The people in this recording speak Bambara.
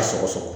A sɔgɔsɔgɔ